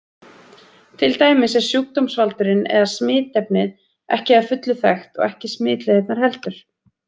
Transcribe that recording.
Til dæmis er sjúkdómsvaldurinn eða smitefnið ekki að fullu þekkt og ekki smitleiðirnar heldur.